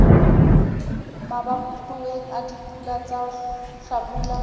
mabatoweng a dipula tsa hlabula